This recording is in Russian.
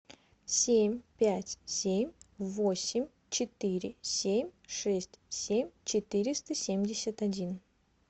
семь пять семь восемь четыре семь шесть семь четыреста семьдесят один